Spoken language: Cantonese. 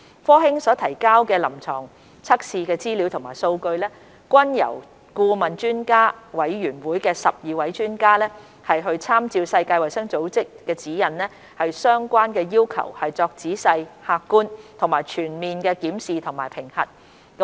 科興所提交的臨床測試資料和數據，均由顧問專家委員會12位專家參照世衞指引的相關要求作仔細、客觀和全面的檢視及評核。